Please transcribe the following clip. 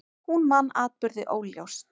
Hún man atburði óljóst.